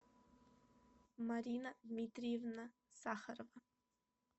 марина дмитриевна сахарова